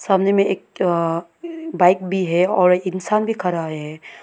सामने में एक बाइक भी है और इंसान भी खड़ा है।